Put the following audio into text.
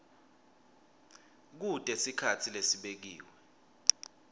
kute sikhatsi lesibekiwe